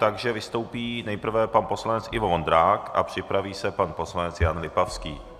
Takže vystoupí nejprve pan poslanec Ivo Vondrák a připraví se pan poslanec Jan Lipavský.